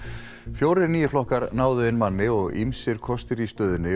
fjórir nýir flokkar náðu inn manni og ýmsir kostir í stöðunni